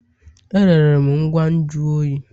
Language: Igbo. Erere m ngwa nju oyi.